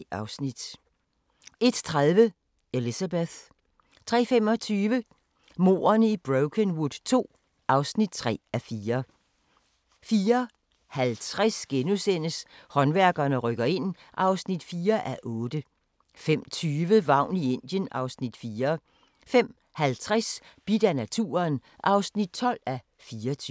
01:30: Elizabeth 03:25: Mordene i Brokenwood II (3:4) 04:50: Håndværkerne rykker ind (4:8)* 05:20: Vagn i Indien (Afs. 4) 05:50: Bidt af naturen (12:24)